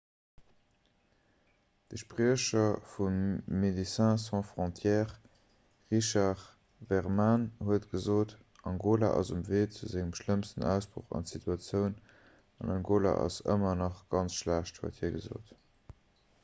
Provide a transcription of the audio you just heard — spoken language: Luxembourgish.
de spriecher vu médecins sans frontières richard veerman huet gesot angola ass um wee zu sengem schlëmmsten ausbroch an d'situatioun an angola ass ëmmer nach ganz schlecht huet hie gesot